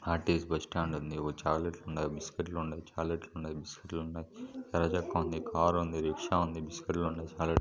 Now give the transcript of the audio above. RTC bus stand ఉందిఒక చాక్లెట్లు ఉన్నాయిబిస్కెట్లు ఉన్నాయిచాక్లెట్లు ఉన్నాయ బిస్కెట్లు ఉన్నాయి ఎర్ర చొక్క ఉంద కారు ఉందిరిక్షా ఉంది బిస్కెట్లు ఉన్నాయి.